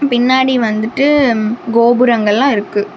பின்னாடி வந்துட்டு கோபுரங்கள் எல்லா இருக்கு.